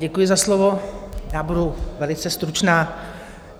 Děkuji za slovo, já budu velice stručná.